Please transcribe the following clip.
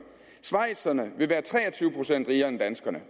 schweizerne vil være tre og tyve procent rigere end danskerne